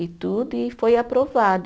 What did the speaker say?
E tudo, e foi aprovado.